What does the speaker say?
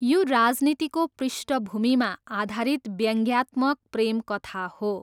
यो राजनीतिको पृष्ठभूमिमा आधारित व्यङ्ग्यात्मक प्रेमकथा हो।